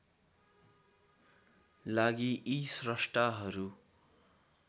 लागि यी स्रष्टाहरू